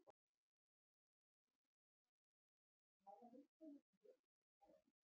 Guðný Helga Herbertsdóttir: Hafa einhverjir gefist upp á að bíða?